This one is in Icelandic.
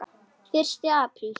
Fyrsti apríl.